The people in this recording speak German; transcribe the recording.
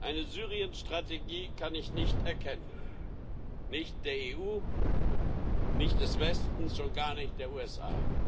Eine Syrien Strategie kann ich nicht erkennen nicht der EU, nicht des Westens, schon gar nicht der USA.